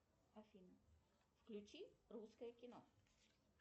афина включи русское кино